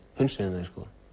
hunsuðum þau